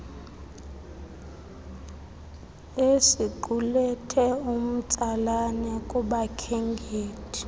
esiqulethe umtsalane kubakhenkethi